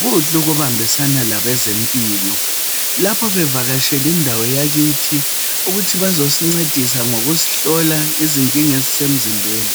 Kuhle ukubambisana labezempilo lapho bevakasheli indawo yakithi ukuthi bazosincedisa ngokusihlola izinkinga ezisemzimbeni.